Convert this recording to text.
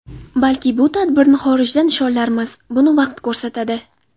Balki bu tadbirni xorijda nishonlarmiz... Buni vaqt ko‘rsatadi.